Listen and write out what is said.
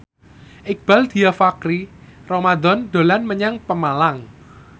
Iqbaal Dhiafakhri Ramadhan dolan menyang Pemalang